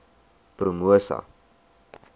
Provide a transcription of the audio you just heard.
promosa